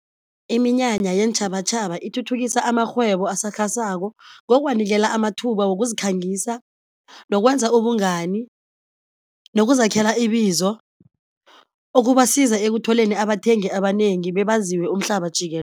Iminyanya yeentjhabatjhaba ithuthukisa amarhwebo asakhasako ngokuwanikela amathuba wokuzikhangisa, nokwenza ubungani, nokuzakhela ibizo okubasiza ekutholeni abathengi abanengi bebaziwe umhlaba